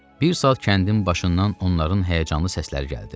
Bir saat kəndin başından onların həyəcanlı səsləri gəldi.